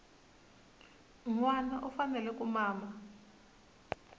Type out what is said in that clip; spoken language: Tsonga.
nwana u fanele ku mama